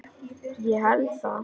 Ég held það